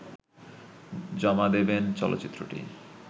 জমা দেবেন চলচ্চিত্রটি